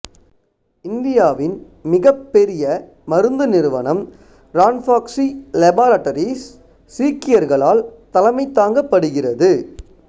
இந்தியாவின் மிகப்பெரிய மருந்து நிறுவனம் ரான்பாக்ஸி லேபாராட்டரீஸ் சீக்கியர்களால் தலைமைத் தாங்கப்படுகிறது